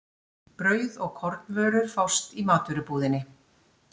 Brauð og kornvörur fást í matvörubúðinni.